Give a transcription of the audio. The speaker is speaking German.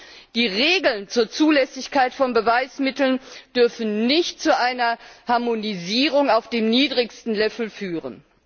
Und die Regeln zur Zulässigkeit von Beweismitteln dürfen nicht zu einer Harmonisierung auf dem niedrigsten Level führen.